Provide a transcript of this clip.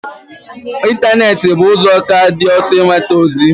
Ịntanetị bụ ụzọ ka dị ọsọ inweta ozi